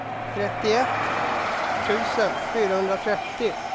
trettioett tusen fyrahundratrettio